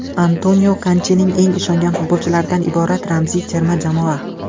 Antonio Kontening eng ishongan futbolchilaridan iborat ramziy terma jamoa.